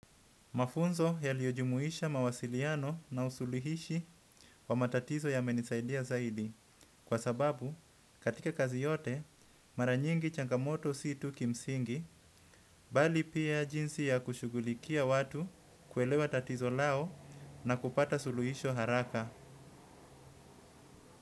Mafunzo yaliyo jumuisha mawasiliano na usuluhishi wa matatizo yamenisaidia zaidi kwa sababu katika kazi yote mara nyingi changamoto si tu kimsingi mbali pia jinsi ya kushughulikia watu kuelewa tatizo lao na kupata suluhisho haraka.